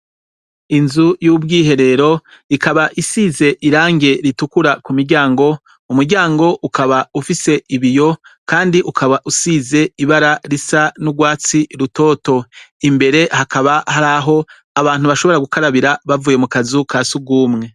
Inzu y'ubwiherero, ikaba isize irangi ritukura ku miryango, umuryango ukaba ufise ibiyo kandi ukaba usize ibara risa n'ugwatsi rutoto imbere hakaba hari aho abantu bashobora gukarabira bavuye mu kazu ka surwumwe.